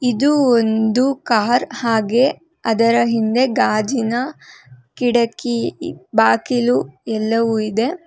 ಇದು ಒಂದು ಕಾರ್ ಹಾಗೆ ಅದರ ಹಿಂದೆ ಗಾಜಿನ ಕಿಟಕಿ ಬಾಕಿಲು ಎಲ್ಲವು ಇದೆ.